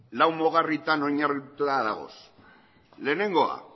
lau mugarrietan oinarrituta dago lehenengoa